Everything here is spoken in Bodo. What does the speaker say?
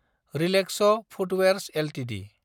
relax footwears Ltd